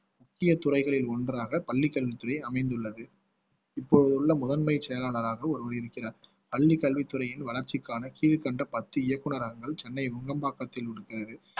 முக்கிய துறைகளில் ஒன்றாக பள்ளிக் கல்வித்துறை அமைந்துள்ளது இப்போது உள்ள முதன்மைச் செயலாளராக ஒருவர் இருக்கிறார் பள்ளி கல்வித்துறையின் வளர்ச்சிக்கான கீழ்கண்ட பத்து இயக்குனரகங்கள் சென்னை நுங்கம்பாக்கத்தில் இருக்கிறது